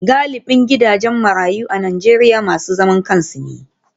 Galibin gidajen marayu a Najeriya masu zaman kansu ne.